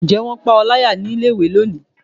njẹ wón pa o layá ní ilé ìwé loní?